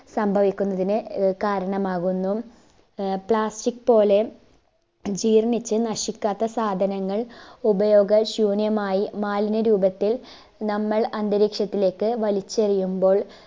സംഭവിക്കുന്നതിന് ആഹ് കാരണമാകുന്നു ആഹ് plastic പോലെ ജീർണ്ണിച്ച് നശിക്കാത്ത സാധനങ്ങൾ ഉപയോഗ ശൂന്യമായി മാലിന്യ രൂപത്തിൽ നമ്മൾ അന്തരീക്ഷത്തിലേക്ക് വലിച്ചെറിയുമ്പോൾ